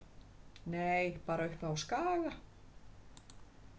Nei, bara uppi á Skaga.